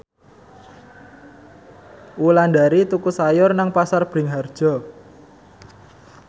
Wulandari tuku sayur nang Pasar Bringharjo